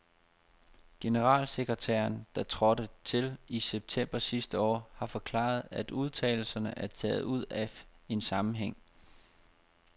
Generalsekretæren, der trådte til i september sidste år, har forklaret, at udtalelserne er taget ud af en sammenhæng.